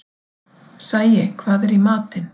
Sæi, hvað er í matinn?